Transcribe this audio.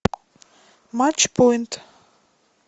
матч поинт